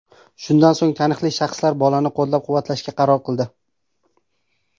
Shundan so‘ng taniqli shaxslar bolani qo‘llab-quvvatlashga qaror qildi.